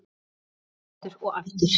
Aftur og aftur og aftur.